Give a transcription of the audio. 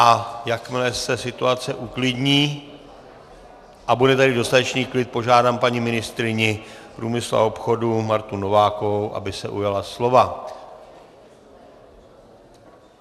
A jakmile se situace uklidní a bude tady dostatečný klid, požádám paní ministryni průmyslu a obchodu Martu Novákovou, aby se ujala slova.